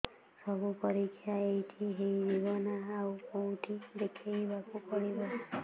ସବୁ ପରୀକ୍ଷା ଏଇଠି ହେଇଯିବ ନା ଆଉ କଉଠି ଦେଖେଇ ବାକୁ ପଡ଼ିବ